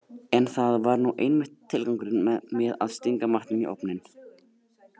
En það var nú einmitt tilgangurinn með að stinga matnum í ofninn.